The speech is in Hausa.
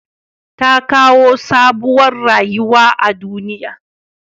Tta kawo sabuwar rayuwa a duniya.